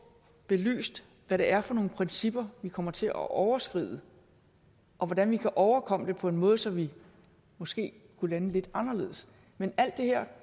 belyst hvad det er for nogle principper vi kommer til at overskride og hvordan vi kan overkomme det på en måde så vi måske kunne lande lidt anderledes men alt